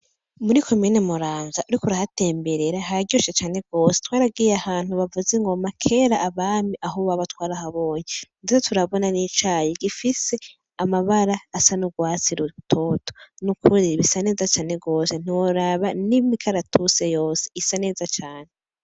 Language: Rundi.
Muri ko mene muranza, ariko urihatemberera haryoshe cane gose twaragiye ahantu bavuze ngoma kera abami aho ubaba twarahabonye, ndetse turabona n'icaya gifise amabara asa n'urwatsi rutoto n'ukuri ibisa neza cane rose ntiworaba n'imik aratuse yose isa neza cane.